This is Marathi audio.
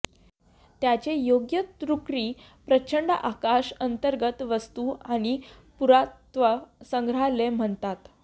त्याचे योग्य तुर्की प्रचंड आकाश अंतर्गत वास्तू आणि पुरातत्व संग्रहालय म्हणतात